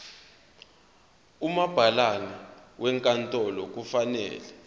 umabhalane wenkantolo kufanele